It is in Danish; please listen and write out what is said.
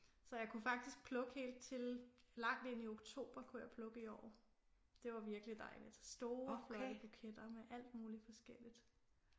Så jeg kunne faktisk plukke helt til langt ind i oktober kunne jeg plukke i år det var virkelig dejligt store flotte buketter med alt muligt forskelligt